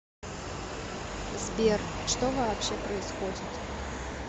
сбер что вообще происходит